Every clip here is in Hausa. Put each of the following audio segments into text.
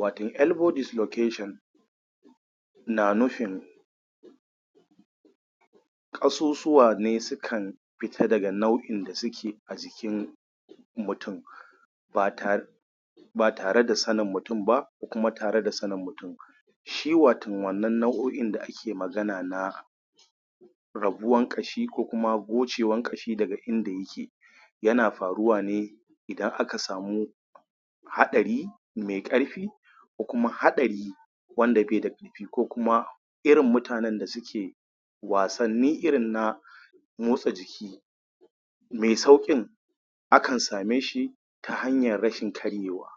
Wato elbow dislocation na nufin ƙasusuwa ne sukan fita da nau; in da suke a jikin mutum ba tare ba tare da sanin mutum ba ko kuma tare da sanin mutum. Shi wato wannan nau'o'in da ake magana na rabuwan ƙashi ko gocewan ƙashi daga inda yake yana faruwa ne idan aka samu Haɗari mai ƙarfi ko kuma wanda bai da ƙarfi ko kuma irin mutanen da suke wasanni irin nan motsa jiki mai sauƙin akan same shi ta hanyar rashin karewa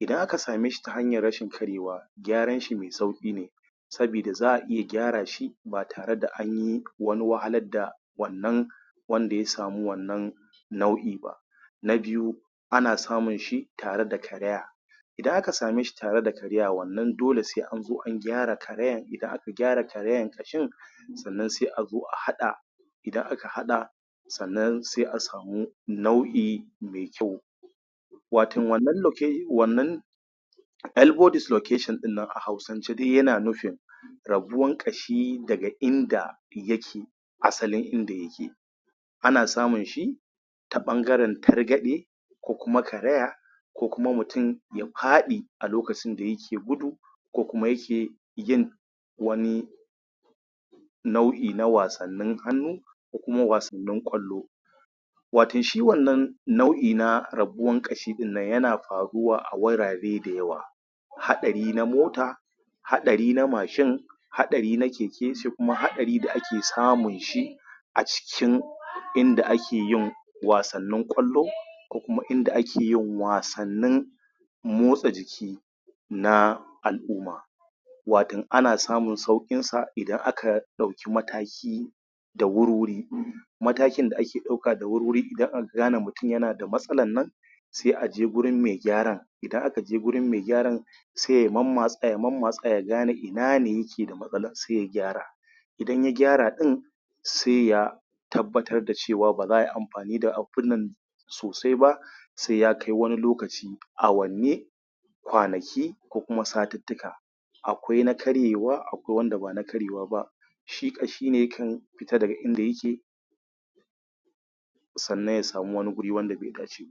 idan aka same shi ta hanyar rashin karewa gyaran shi mai sauƙi ne sabida za a iya gyara shi ba tare da an yi wahalar da wannan wanda ya samu wannan nau'i ba na biyu ana samun shi tare da karaya, idan aka same shi tare da karaya. wannan dole sai an zo an gyara karayan. Idan aka gyar karayan ƙashin sannan sai a zo a haɗa idan aka haɗa sannan sai a samu nau'i mai kyau. wato wannan loke wannan elbow dislocation ɗin nan a Hausa yana nufin rabuwan ƙashi daga inda yake, asal; in in da yake, ana samun shi ta ɗangaren targaɗe ko kuma karaya ko kuma mutum ya faɗi a lokacin da yake gudu ko kuma yake yin wani nau'i na wasannin hannu ko kuma wasan ƙwallo wattan shi wannan nau'i na rabuwan ƙashin nan yana faruwa a wurare da yawa. Haɗari na mota haɗari na mashin haɗari na keke haɗari da ake samun shi a cikin inda ake yin wasannin ƙwallo ko kuma inda ake yin wasnnin motsa jiki na al'umma wato ana samun sauƙinsa idan aka ɗauki mataki da wuri-wuri matakin da ake ɗauka da wuri-wuri idan aka gane mutum yana da matsalan nan sai a je gurin mai gyaran, idan aka je gurin mai gyara sai ya mammatsa ya mammatsa ya gane ina ne yake da matsalan sai ya gyara idan ya gra ɗin sai ya tabbatar da cewa ba za ai amfani da abun nan sosai ba sai ya kai wani lokaci awanni kwanaki ko kuma satittika. Akwai na karyewa akwai wanda ba na karyewa ba. shi ƙashi ne yakan fita daga inda yake sannan ya samu wani guri wanda bai